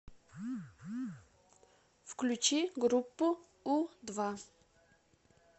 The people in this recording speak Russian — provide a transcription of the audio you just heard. включи группу у два